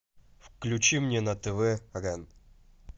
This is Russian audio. включи мне на тв рен